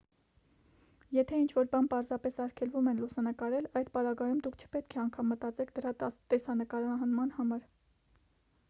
եթե ինչ-որ բան պարզապես արգելվում է լուսանկարել այդ պարագայում դուք չպետք է անգամ մտածեք դրա տեսանկարման մասին